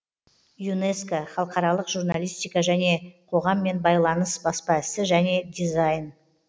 юнеско халықаралық журналистика және қоғаммен байланыс баспа ісі және дизайн